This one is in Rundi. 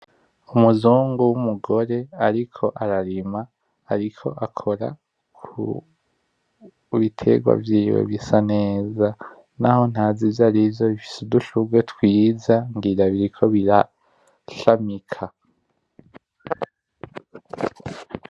Umuzungu w'umugore ariko ararima, ariko akora kubiterwa vyiwe bisa neza, naho ntazi ivyarivyo bifise udushurwe twiza ngira biriko birashamika.